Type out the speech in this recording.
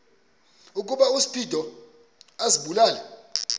ukuba uspido azibulale